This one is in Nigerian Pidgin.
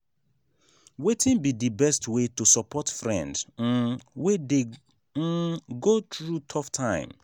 wetin be di best way to support friend um wey dey um go through tough time?